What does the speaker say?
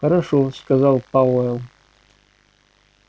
хорошо сказал пауэлл